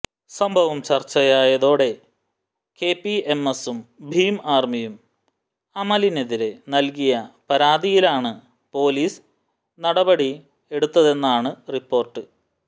സംഭവം ചർച്ചയായതോടെ കെപിഎംഎസും ഭീം ആര്മിയും അമലിനെതിരെ നല്കിയ പരാതിയിലാണ് പോലീസ് നടപടി എടുത്തതെന്നാണ് റിപ്പോർട്ട്